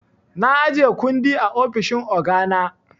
Na ajiye kundi a ofishin ogana.